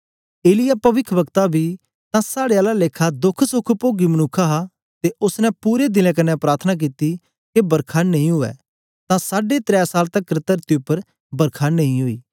एलिय्याह पविखवक्ता बी तां साड़े आला लेखा दोखसोख पोगी मनुक्ख हा ते ओसने पूरे दिलें कन्ने प्रार्थना कित्ती के बरखा नेई उवै तां साढे त्रै साल तकर तरती उपर बरखा नेई ओई